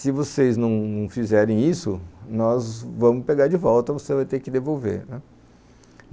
Se vocês não fizerem isso, nós vamos pegar de volta, você vai ter que devolver.